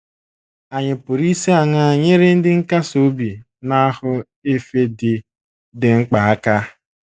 Ànyị pụrụ isi aṅaa nyere ndị nkasi obi na ahụ efe dị dị mkpa aka?